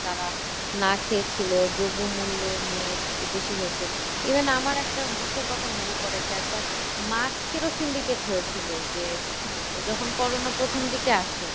তারা না খেয়ে ছিল, দ্রব্যমূল্য নিয়ে বেশি হয়েছে। even আমার একটি ইসের কথা মনে পরে যে একবার mask এরও syndicate হয়েছিল যে যখন CORONA প্রথম দিকে আসে।